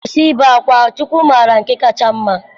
Kwụsị ibe akwa, Chukwu mara nke kacha mma.